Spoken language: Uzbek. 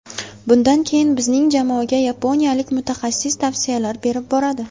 Bundan keyin bizning jamoaga yaponiyalik mutaxassis tavsiyalar berib boradi.